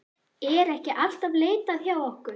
Er ekki alltaf leitað hjá okkur?